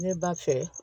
Ne b'a fɛ